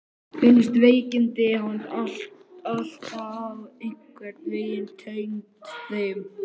Fannst veikindi hans alltaf einhvern veginn tengd þeim degi.